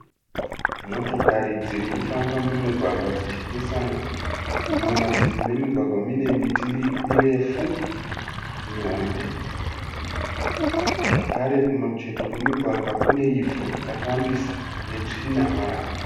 Motokari dzirikufamba mumugwagwa dzichipesana. Mumativi memugwagwa munemiti mirefu mihombe zvakare kumacheto kwemugwagwa kuneivhu rakawandisa netsvina marara.